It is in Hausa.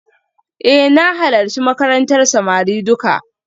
Eh na halarci makarantar samari duka